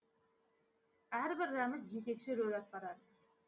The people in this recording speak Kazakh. әрбір рәміз жетекші рөл атқарады